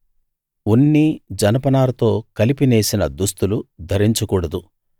ఉన్ని జనపనారతో కలిపి నేసిన దుస్తులు ధరించకూడదు